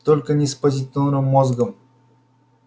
только не с позитронным мозгом